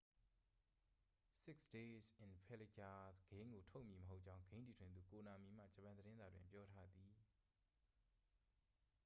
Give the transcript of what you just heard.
six days in fallujah ဂိမ်းကို ထုတ်မည်မဟုတ်ကြောင်း ဂိမ်းတည်ထွင်သူ ကိုနာမီမှ ဂျပန်သတင်းစာတွင် ပြောထားသည်